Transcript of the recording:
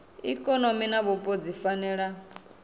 ikonomi na vhupo dzi fanela